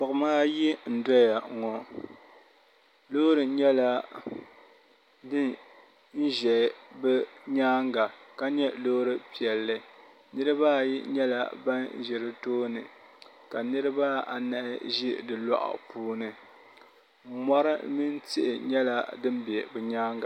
gbuɣima ayi n-doya ŋɔ loori nyɛla din ʒe bɛ nyaaga ka nyɛ loori piɛlli niriba ayi nyɛla ban ʒi di tooni ka niriba anahi ʒi di lɔɣu puuni mɔri mini tihi nyɛla din be bɛ nyaaga.